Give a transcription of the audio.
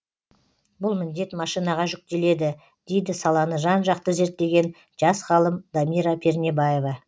бұл міндет машинаға жүктеледі дейді саланы жан жақты зерттеген жас ғалым дамира пернебаева